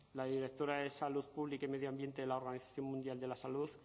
la directora de salud pública y medio ambiente de la organización mundial de la salud